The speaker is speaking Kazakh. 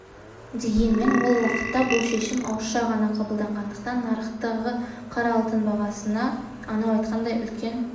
дегенмен ол уақытта бұл шешім ауызша ғана қабылданғандықтан нарықтағы қара алтын бағасында анау айтқандай үлкен